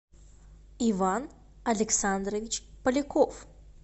иван александрович поляков